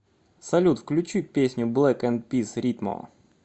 салют включи песню блек энд пис ритмо